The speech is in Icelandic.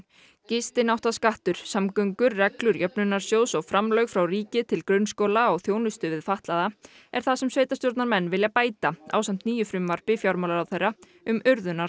gistináttaskattur samgöngur reglur jöfnunarsjóðs og framlög frá ríki til grunnskóla og þjónustu við fatlaða er það sem sveitarstjórnarmenn vilja bæta ásamt nýju frumvarpi fjármálaráðherra um